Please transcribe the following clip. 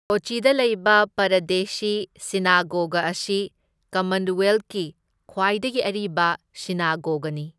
ꯀꯣꯆꯤꯗ ꯂꯩꯕ ꯄꯔꯥꯗꯦꯁꯤ ꯁꯤꯅꯥꯒꯣꯒ ꯑꯁꯤ ꯀꯃꯟꯋꯦꯜꯊꯀꯤ ꯈ꯭ꯋꯥꯏꯗꯒꯤ ꯑꯔꯤꯕ ꯁꯤꯅꯥꯒꯣꯒꯅꯤ꯫